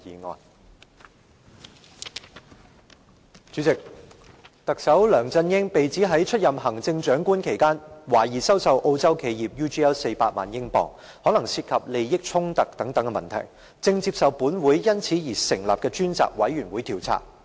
代理主席，特首梁振英被指在出任行政長官期間，涉嫌收受澳洲企業400萬英鎊，可能涉及利益衝突，正接受立法會因此而成立的專責委員會調查。